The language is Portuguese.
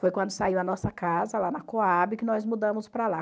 Foi quando saiu a nossa casa lá na Cohab que nós mudamos para lá.